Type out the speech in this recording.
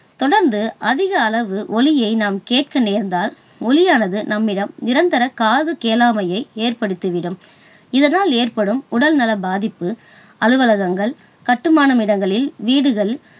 தொடர்ந்து அதிக அளவு ஒலியை நாம் கேட்க நேர்ந்தால், ஒலியானது நம்மிடம் நிரந்தர காதுகேளாமையை ஏற்படுத்திவிடும். இதனால் ஏற்படும் உடல்நல பாதிப்பு, அலுவலகங்கள், கட்டுமான இடங்களில் வீடுகள்